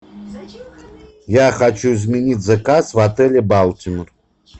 я хочу изменить заказ в отеле балтимор